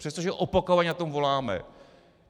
Přestože opakovaně po tom voláme.